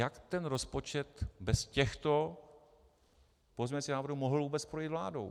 Jak ten rozpočet bez těchto pozměňovacích návrhů mohl vůbec projít vládou?